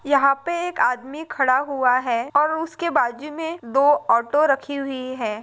यहा पे एक आदमी खडा हुआ है और उसके बाजू मे दो ऑटो रखी हुई है।